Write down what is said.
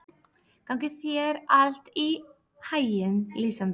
Gangi þér allt í haginn, Lísandra.